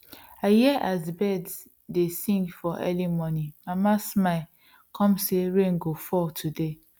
i hear as birds dey sing for early morning mama smile come say rain go fall today